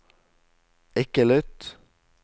ikke lytt